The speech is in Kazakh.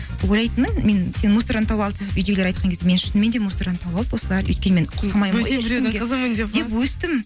ойлайтынмын мен сені мусордан тауып алдық деп үйдегілер айтқан кезде мені шынымен де мусордан тауып алды осылар өйткені мен деп өстім